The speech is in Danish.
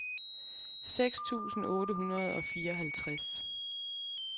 seks tusind otte hundrede og fireoghalvtreds